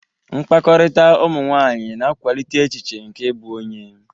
Mkpakọrịta ụmụ nwanyị na-akwalite echiche nke ịbụ onye.